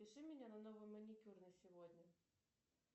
запиши меня на новый маникюр на сегодня